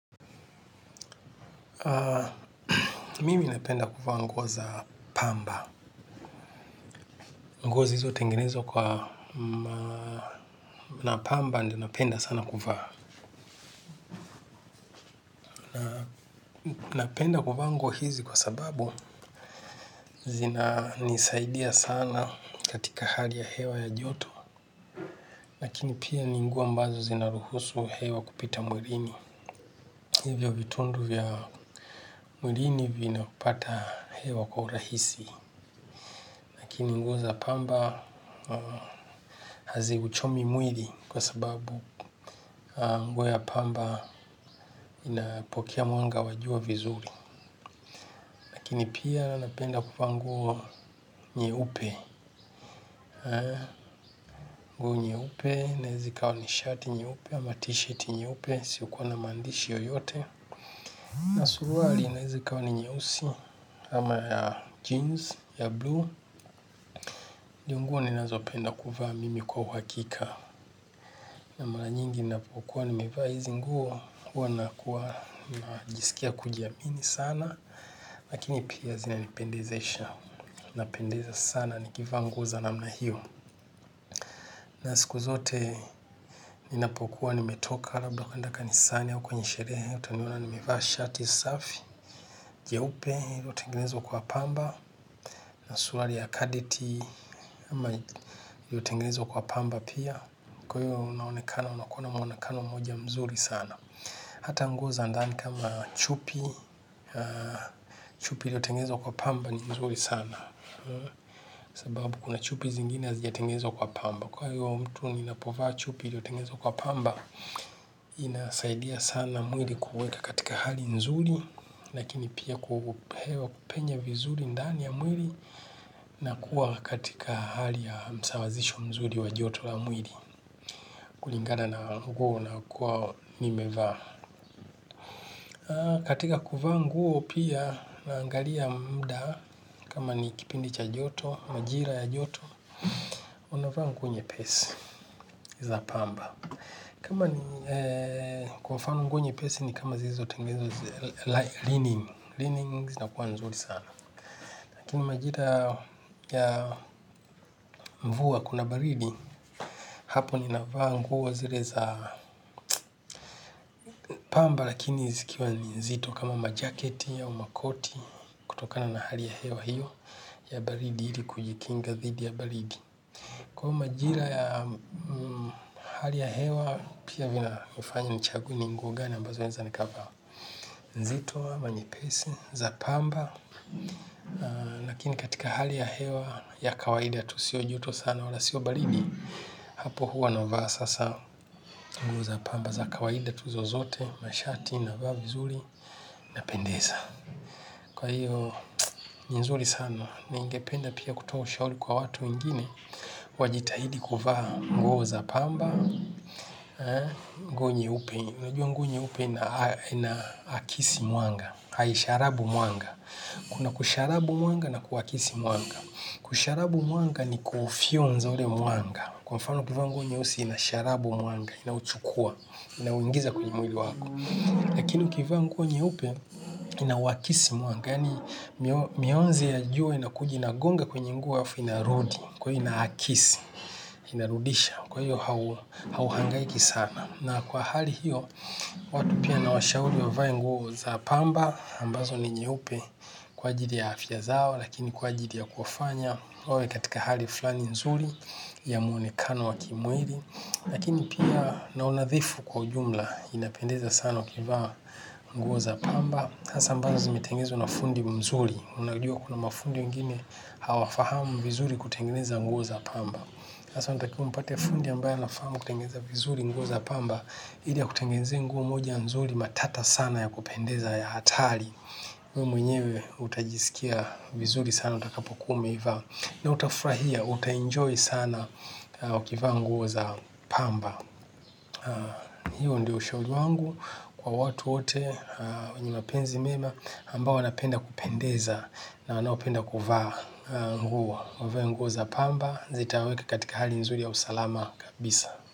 Mimi napenda kuvaa nguo za pamba nguo zilizotengenezwa kwa na pamba ndio napenda sana kuvaa napenda kuvaa nguo hizi kwa sababu zina nisaidia sana katika hali ya hewa ya joto lakini pia ni nguo ambazo zinaruhusu hewa kupita mwilini hivyo vitundu vya mwilini vina pata hewa kwa urahisi lakini nguo za pamba hazi uchomi mwili kwa sababu nguo ya pamba inapokea mwanga wa jua vizuri. Lakini pia napenda kuvaa nguo nyeupe. Nguo nyeupe inaeza ikawa ni shirt nyeupe ama t-shirt nyeupe isiyokuwa na maandishi yoyote. Na suruali inaeza ikawa ni nyeusi amaya jeans ya blue ndio. Nguo ninazo penda kuvaa mimi kwa uhakika mara nyingi ninapokuwa nimevaa hizi nguo huwa nakuwa najisikia kujiamini sana lakini pia zinanipendezesha. Na siku zote ninapokuwa nimetoka labla kuenda kanisani au kwenye sherehe utaniona nimevaa shati safi jeupe iliyotengenezwa kwa pamba. Na suruali ya kadeti iliyotengenezwa kwa pamba pia. Kwa hiyo unaonekana. Unakuwa na muonekano mmoja mzuri sana. Hata nguo za ndani kama chupi. Chupi ilyotengenezwa kwa pamba ni mzuri sana sababu kuna chupi zingine hazijatengenezwa kwa pamba kwa hiyo mtu ninapovaa chupi iliyotengenezwa kwa pamba inasaidia sana mwili kuweka katika hali nzuri lakini pia ku hewa kupenya vizuri ndani ya mwili na kuwa katika hali ya msawazisho mzuri wa joto la mwili kulingana na nguo na kuwa nimevaa katika kuvaa nguo pia naangalia muda kama ni kipindi cha joto, majira ya joto. Unavaa nguo nyepesi za pamba. Kama ni kwa mfano nguo nyepesi ni kama zilizo tengenezwa Lining zina kuwa nzuri sana. Lakini majira ya mvua kuna baridi. Hapo ninavaa nguo zile za pamba. Lakini zikiwa nzito kama majaketi au makoti. Kutokana na hali ya hewa hiyo ya baridi ili kujikinga dhidi ya baridi. Kwahiyo majira ya hali ya hewa. Pia vina nifanya nichague ni nguo gani ambazo naeza nikavaa nzito ama, nyepesi, za pamba. Lakini katika hali ya hewa ya kawaida tu sio joto sana wala sio baridi. Hapo huwa na vaa sasa nguo za pamba za kawaida tu zozote, mashati na vaa vizuri na pendeza. Kwa hiyo ni nzuri sana, ningependa pia kutoa ushauri kwa watu wengine. Wajitahidi kuvaa nguo za pamba, nguo nyeupe. Unajua nguo nyeupe ina akisi mwanga hai, sharabu mwanga kuna kusharabu mwanga na kuakisi mwanga kusharabu muanga ni kufyonza ule mwanga kwa mfano ukivaa nguo nyeusi ina sharabu mwanga inauchukua, ina uingiza kwenye mwili wako lakini ukivaa nguo nyeupe inauakisi mwanga yaani mionzi ya juo inakuja ina gonga kwenye nguo alafu inarudi kwahiyo inaakisi, inarudisha kwa hiyo hauhangaiki sana. Na kwa hali hiyo, watu pia nawashauri wavae nguo za pamba, ambazo ni nyeupe kwa ajili ya afya zao, lakini kwa ajili ya kufanya, wawe katika hali fulani nzuri ya muonekano wa kimwili. Lakini pia na unadhifu kwa ujumla inapendeza sana ukivaa nguo za pamba. Hasa ambazo zimetengenezwa na fundi mzuri, unajua kuna mafundi wengine hawafahamu vizuri kutengeneza nguo za pamba. Sasa unatakiwa umpate fundi ambaye anafahamu kutengeneza nguo za pamba ili akutengenezee nguo moja nzuri matata sana ya kupendeza ya hatari. Wewe mwenyewe utajisikia vizuri sana utakapo kuwa umeivaa. Na utafurahia utaenjoy sana ukivaa nguo za pamba. Hiyo ndo ushauri wangu kwa watu wote wenye mapenzi mema ambao wanapenda kupendeza wanaopenda kuvaa nguo wavae nguo za pamba zitawaweka katika hali nzuri ya usalama kabisa.